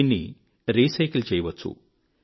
దీన్ని రీసైకిల్ చేయవచ్చు